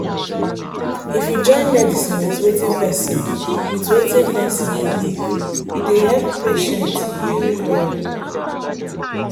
if you join medicine with wetin person with wetin person believe e dey help patient heal well.